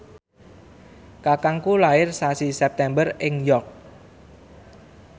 kakangku lair sasi September ing York